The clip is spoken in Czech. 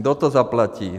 Kdo to zaplatí?